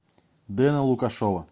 дэна лукашова